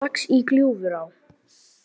Risalax í Gljúfurá